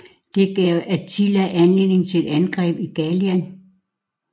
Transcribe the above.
Det gav Attila anledning til et angreb ind i Gallien